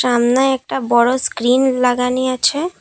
সামনে একটা বড়ো স্ক্রীন লাগানি আছে।